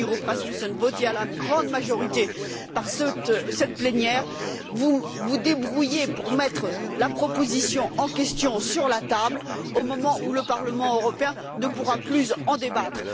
Poul Nyrup Rasmussen, qui est votée à la grande majorité par cette plénière, vous vous débrouillez pour mettre la proposition en question sur la table au moment où le Parlement européen ne pourra plus en débattre.